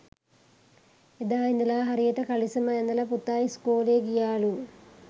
එදා ඉදලා හරියට කළිසම ඇදලා පුතා ඉස්කෝලේ ගියාලු